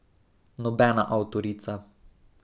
Nobena avtorica.